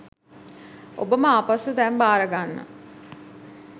ඔබම ආපසු දැන් බාරගන්න